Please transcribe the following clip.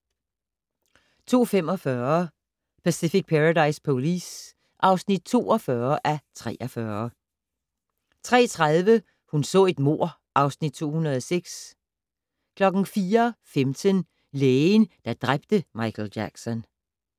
02:45: Pacific Paradise Police (42:43) 03:30: Hun så et mord (Afs. 206) 04:15: Lægen, der dræbte Michael Jackson